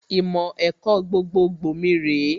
Ìmọ̀ ẹ̀kọ́ gbogbogbò mi rèé